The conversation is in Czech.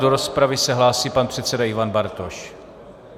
Do rozpravy se hlásí pan předseda Ivan Bartoš.